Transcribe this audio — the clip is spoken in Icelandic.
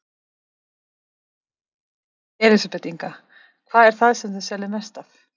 Elísabet Inga: Hvað er það sem þið seljið mest af?